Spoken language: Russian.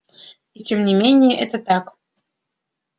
и тем не менее это так